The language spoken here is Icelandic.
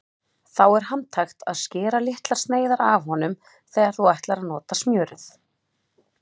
Þá er handhægt að skera litlar sneiðar af honum þegar þú ætlar að nota smjörið.